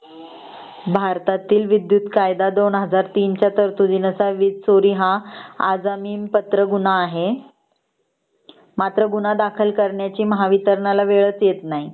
भारतातील विद्युत कायदा २००३ च्या तरतुदी नुसार वीज चोरी हा अजमिन पात्र गुन्हा आहे मात्र गुन्हा दाखल करण्याची महावितरणला गुन्हा दाखल करण्याची वेळ च येत नाही